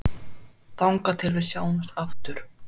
Þangað til við sjáumst aftur.